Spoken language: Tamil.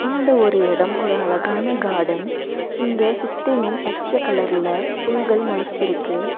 இந்த ஒரு இடம் ஒரு அழகான கார்டன் இங்க சுத்தியும் பச்ச கலர்ல புள்கள் மொளச்சிருக்கு.